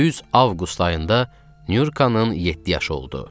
Düz avqust ayında Nyurkanın yeddi yaşı oldu.